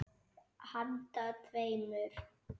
Handa tveimur